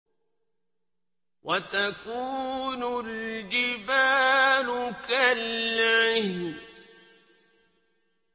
وَتَكُونُ الْجِبَالُ كَالْعِهْنِ